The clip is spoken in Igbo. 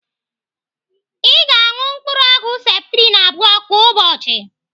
Ị ga-anụ mkpụrụ ọgwụ septrin abụọ kwa ụbọchị.